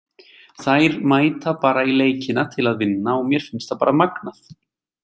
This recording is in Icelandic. Þær mæta bara í leikina til að vinna og mér finnst það bara magnað.